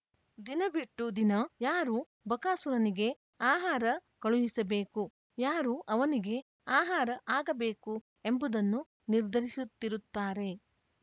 ದಿನ ಬಿಟ್ಟು ದಿನ ಯಾರು ಬಕಾಸುರನಿಗೆ ಆಹಾರ ಕಳುಹಿಸಬೇಕು ಯಾರು ಅವನಿಗೆ ಆಹಾರ ಆಗಬೇಕು ಎಂಬುದನ್ನು ನಿರ್ಧರಿಸುತ್ತಿರುತ್ತಾರೆ